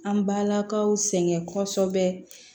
An balakaw sɛŋɛ kɔsɔbɛ